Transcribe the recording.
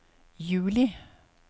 juli